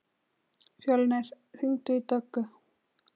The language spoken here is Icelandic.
Fjölnir, hringdu í Döggu.